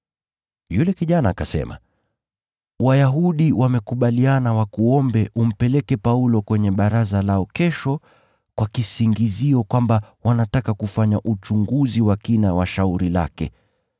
Yule kijana akasema, “Wayahudi wamekubaliana wakuombe umpeleke Paulo kwenye baraza lao kesho kwa kisingizio kwamba wanataka kufanya uchunguzi wa kina wa shauri lake.